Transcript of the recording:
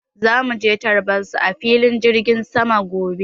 Zamu je tarbar su a filin jirgin sama gobe.